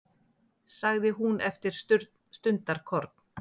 sagði hún eftir stundarkorn.